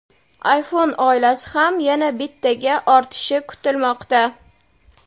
iPhone oilasi ham yana bittaga ortishi kutilmoqda.